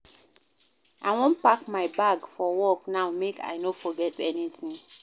I wan pack my bag for work now make I no forget anytin.